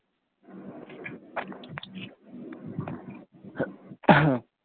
উহ